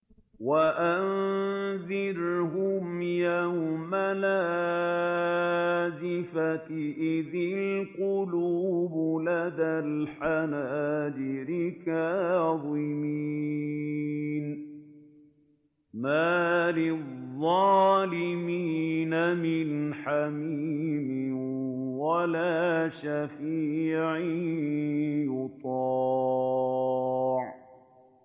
وَأَنذِرْهُمْ يَوْمَ الْآزِفَةِ إِذِ الْقُلُوبُ لَدَى الْحَنَاجِرِ كَاظِمِينَ ۚ مَا لِلظَّالِمِينَ مِنْ حَمِيمٍ وَلَا شَفِيعٍ يُطَاعُ